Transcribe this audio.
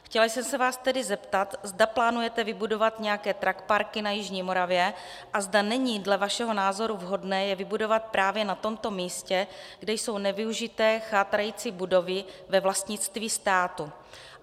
Chtěla jsem se vás tedy zeptat, zda plánujete vybudovat nějaké truckparky na jižní Moravě a zda není dle vašeho názoru vhodné je vybudovat právě na tomto místě, kde jsou nevyužité chátrající budovy ve vlastnictví státu.